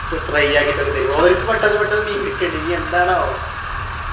ഫ് fry ആക്കിട്ടൊക്കെ തരും ഓര്ക്ക് പെട്ടന്ന് പെട്ടന്ന് മീൻ കിട്ടിണ് ഇനി എന്താണാവോ